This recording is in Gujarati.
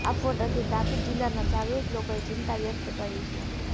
આ ફોટાથી તાપી જિલ્લાના જાગૃત લોકોએ ચિંતા વ્યક્ત કરી છે